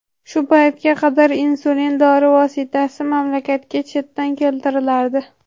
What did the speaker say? Shu paytga qadar insulin dori vositasi mamlakatga chetdan keltirilardi.